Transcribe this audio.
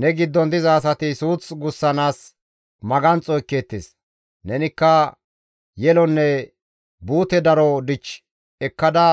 Ne giddon diza asati suuth gussanaas maganxo ekkeettes; nenikka yelonne buute daro dich ekkada